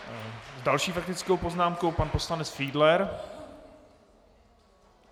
S další faktickou poznámkou pan poslanec Fiedler.